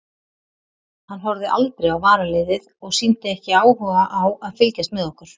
Hann horfði aldrei á varaliðið og sýndi ekki áhuga á að fylgjast með okkur.